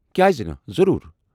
کیازِ نہٕ، ضروٗر۔